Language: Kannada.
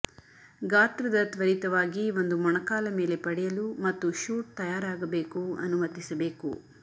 ಗಾತ್ರದ ತ್ವರಿತವಾಗಿ ಒಂದು ಮೊಣಕಾಲ ಮೇಲೆ ಪಡೆಯಲು ಮತ್ತು ಶೂಟ್ ತಯಾರಾಗಬೇಕು ಅನುಮತಿಸಬೇಕು